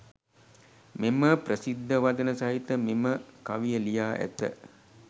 මෙම ප්‍රසිද්ධ වදන සහිත මෙම කවිය ලියා ඇත.